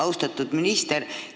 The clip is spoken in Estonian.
Austatud minister!